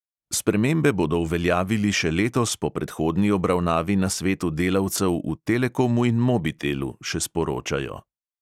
Spremembe bodo uveljavili še letos po predhodni obravnavi na svetu delavcev v telekomu in mobitelu, še sporočajo.